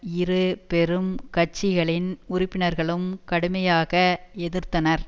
இரு பெரும் கட்சிகளின் உறுப்பினர்களும் கடுமையாக எதிர்த்தனர்